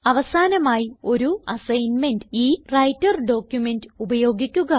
അവസാനമായി ഒരു അസൈൻമെന്റ് ഈ വ്രൈട്ടർ ഡോക്യുമെന്റ് ഉപയോഗിക്കുക